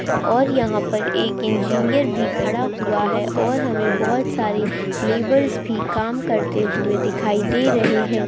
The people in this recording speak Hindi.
और यहां पर एक इंजीनियर भी खड़ा हुआ है और हमें बहुत सारी लेबर्स भी काम करते हुए दिखाई दे रहे हैं।